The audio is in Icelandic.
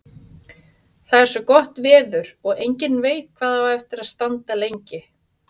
Það er svo gott veður og enginn veit hvað það á eftir að standa lengi.